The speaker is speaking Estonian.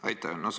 Aitäh!